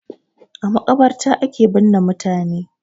A maƙabarta ake binne mutane.